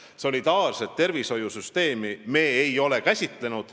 – solidaarset tervishoiusüsteemi.